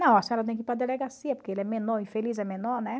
Não, a senhora tem que ir para a delegacia, porque ele é menor, infeliz é menor, né?